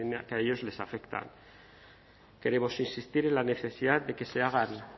que a ellos les afectan queremos insistir en la necesidad de que se hagan